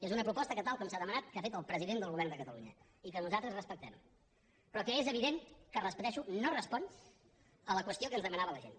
és una proposta que tal com s’ha demanat ha fet el president del govern de catalunya i que nosaltres respectem però que és evident que ho repeteixo no respon a la qüestió que ens demanava la gent